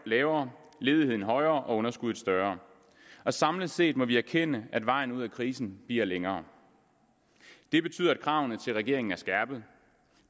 lavere ledigheden højere og underskuddet større samlet set må vi erkende at vejen ud af krisen bliver længere det betyder at kravene til regeringen er skærpede